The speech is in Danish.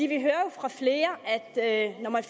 vi hører jo fra flere at at når man